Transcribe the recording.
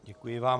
Děkuji vám.